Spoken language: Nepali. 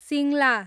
सिङ्ला